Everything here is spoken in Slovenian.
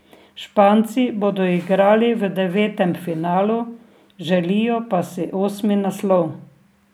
Španci bodo igrali v devetem finalu, želijo pa si osmi naslov.